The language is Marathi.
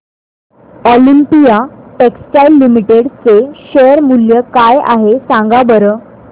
ऑलिम्पिया टेक्सटाइल्स लिमिटेड चे शेअर मूल्य काय आहे सांगा बरं